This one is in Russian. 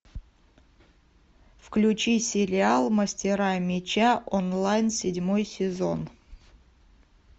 включи сериал мастера меча онлайн седьмой сезон